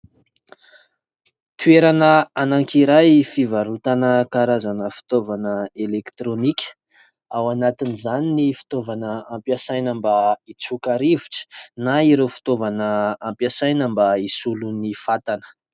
Toerana anankiray fivarotana karazana fitaovana elektronika : ao anatin'izany ny fitaovana ampiasaina mba hitsoka rivotra na ireo fitaovana ampiasaina mba hisolo ny fatana.